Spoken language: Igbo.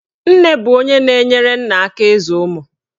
Nne bụ onye na-enyere nna aka ịzụ ụmụ.